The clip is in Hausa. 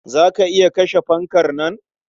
Za ka iya kashe fankar nan?